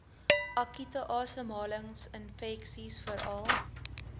akute asemhalingsinfeksies veral